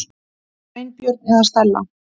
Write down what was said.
Sveinbjörn eða Stella.